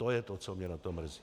To je to, co mě na tom mrzí.